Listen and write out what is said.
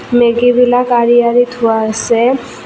মেগীবিলাক আঁৰি আঁৰি থোৱা আছে।